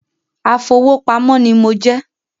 Afowópamọ́ ní mo jẹ́